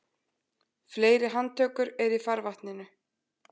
Fleiri handtökur eru í farvatninu